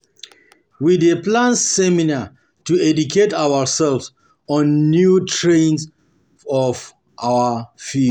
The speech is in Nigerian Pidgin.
We dey plan seminar to educate ourselves on new trends for our field.